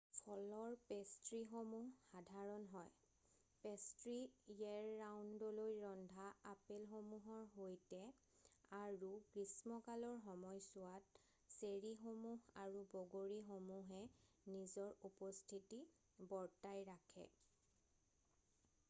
ফলৰ পেষ্ট্ৰীসমূহ সাধাৰণ হয় পেষ্ট্ৰী ইয়েৰ ৰাউণ্ডলৈ ৰন্ধা আপেলসূহৰ সৈতে আৰু গ্ৰীষ্মকালৰ সময়ছোৱাত চেৰীসমূহ আৰু বগৰীসমূহে নিজৰ উপস্থিতি বৰ্তাই ৰাখে৷